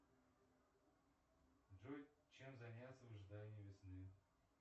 джой чем заняться в ожидании весны